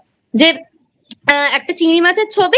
যে একটা চিংড়ি মাছের ছবি